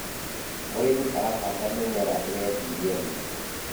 mũrĩmi arahanda mĩmera iretĩĩria riũa